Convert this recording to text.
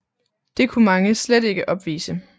Det kunne mange slet ikke opvise